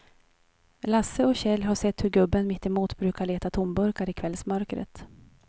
Lasse och Kjell har sett hur gubben mittemot brukar leta tomburkar i kvällsmörkret.